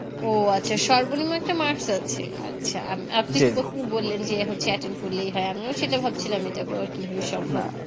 ও আচ্ছা সর্বনিম্ন একটা Marks আছে আচ্ছা আর আপনি যে প্রথম বললেন যে হচ্ছে Attend করলেই হয় আমিও সেটা ভাবছিলাম এটা কিভাবে সম্ভব হয়